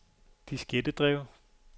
diskettedrev